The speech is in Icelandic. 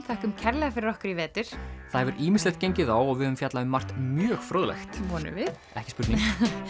þökkum kærlega fyrir okkur í vetur það hefur ýmislegt gengið á og við höfum fjallað um margt mjög fróðlegt vonum við ekki spurning